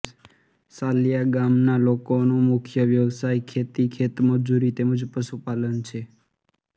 સાલિયા ગામના લોકોનો મુખ્ય વ્યવસાય ખેતી ખેતમજૂરી તેમ જ પશુપાલન છે